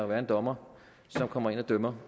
være en dommer som kommer ind og dømmer